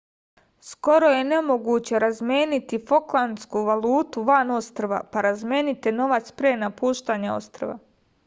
skoro je nemoguće razmeniti foklandsku valutu van ostrva pa razmenite novac pre napuštanja ostrva